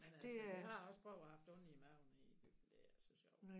Men altså vi har også prøvet at haft ondt i maven i Egypten det er ikke så sjov